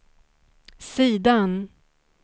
sidan